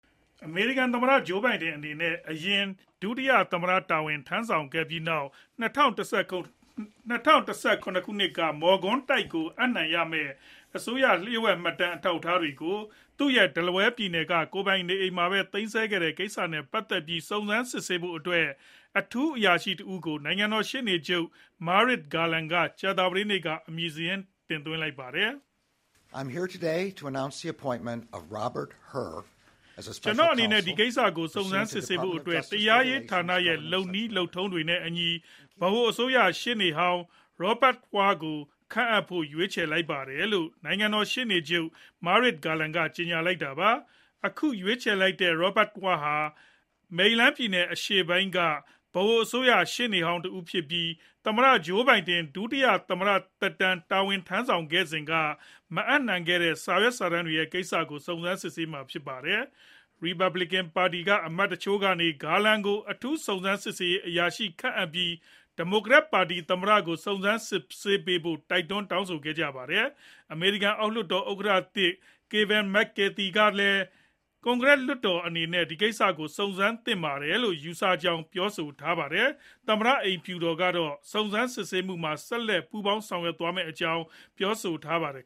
အမေရိကန်သမ္မတ Joe Biden အနေနဲ့ အရင် ဒုတိယသမ္မတတာဝန်ထမ်းဆောင်ခဲ့ပြီးနောက် ၂ဝ၁၇ ခုနှစ်က မော်ကွန်းတိုက်ကိုအပ်နှံရမယ့် လျှို့ဝှက်မှတ်တမ်းအထောက်အထားတွေကို သူရဲ့ Delaware ပြည်နယ်က ကိုယ်ပိုင်နေအိမ်မှာပဲ သိမ်းဆည်းခဲ့တဲ့ကိစ္စနဲ့ပတ်သက်ပြီး စုံစမ်းစစ်ဆေးဖို့ အထူးအရာရှိတဦးကို နိုင်ငံတော် ရှေ့နေချုပ် Merrick Garland က ကြာသပတေးနေ့က အမည်စာရင်း တင်သွင်းလိုက်ပါတယ်။ “ကျနော့်အနေနဲ့ ဒီကိစ္စကို စုံစမ်းစစ်ဆေးဖို့ တရားရေးဌာနရဲ့လုပ်နည်းလုပ်ထုံးတွေနဲ့အညီ ဗဟိုအစိုးရ ရှေ့နေဟောင်း Robert Hur ကိုခန့်အပ်ဖို့ ရွေးချယ်လိုက်ပါတယ်”-လို့ နိုင်ငံတော် ရှေ့နေချုပ် Merrick Garland က ကြေညာလိုက်တာပါ။ အခုရွေးချယ်လိုက်တဲ့ Robert Hur ဟာ မေရီလန်းပြည်နယ်အရှေ့ပိုင်းက ဗဟိုအစိုးရ ရှေ့နေဟောင်းတဦးဖြစ်ပြီး သမ္မတ Joe Biden ဒုတိယသမ္မတ တာဝန်ထမ်းဆောင်စဉ်က မအပ်နှံခဲ့တဲ့ စာရွက်စာတမ်းတွေကိစ္စကို စုံစမ်းမှာဖြစ်ပါတယ်။ Republicans ပါတီက အမတ်တချို့ကနေ Garland ကို အထူးစုံစမ်းစစ်ဆေးရေးအရာရှိခန့်အပ်ပြီး ဒီမိုကရက်ပါတီသမ္မတကို စုံစမ်းစစ်ဆေးပေးဖို့ တိုက်တွန်း တောင်းဆိုကြပါတယ်။ အမေရိကန် အောက်လွှတ်တော်ဥက္ကဋ္ဌသစ် Kevin Mc Carthy ကလည်း ကွန်ကရက်လွှတ်တော်အနေနဲ့ ဒီကိစ္စကို စုံစမ်းစစ်ဆေးသင့်တယ်လို့ ယူဆကြောင်း ပြောပါတယ်။ သမ္မတအိမ်ဖြူတော်ကတော့ စုံစမ်းစစ်ဆေးမှုမှာ ဆက်လက် ပူးပေါင်းဆောင်ရွက်သွားမယ့်အကြောင်း ပြောဆိုထားပါတယ်